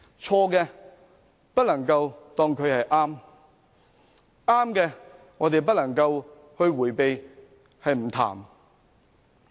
錯事不能當作是對的，對的亦不能避而不談。